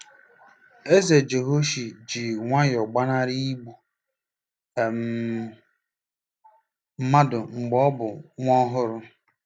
Eze Jehoashi ji nwayọọ gbanarị igbu um mmadụ mgbe ọ bụ nwa ọhụrụ.